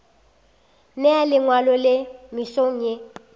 nea lengwalo le mesong ye